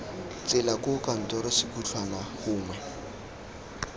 tsela koo kantoro sekhutlhwana gongwe